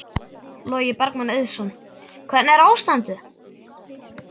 Logi Bergmann Eiðsson: Hvernig er ástandið?